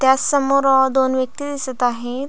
त्याचमोर दोन व्यक्ती दिसत आहेत.